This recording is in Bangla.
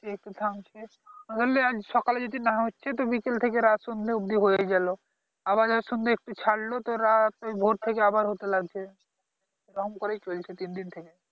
একটু থামছে ধরে না আজ সকালে যদি না হচ্ছে তো বিকেল থেকে রাত সন্ধ্যা অবধি হয়েই গেলো আবার ধরে সন্ধ্যায় একটু ছাড়লো তো রাত ভোর থেকে আবার হতে লাগছে এরকম করেই চলছে তিন দিন থেকে